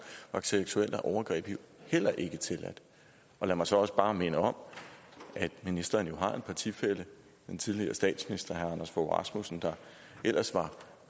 var seksuelle overgreb jo heller ikke tilladt lad mig så også bare minde om at ministeren jo har en partifælle en tidligere statsminister herre anders fogh rasmussen der ellers var